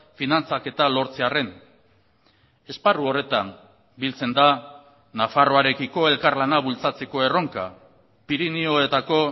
finantzaketa lortzearren esparru horretan biltzen da nafarroarekiko elkarlana bultzatzeko erronka pirinioetako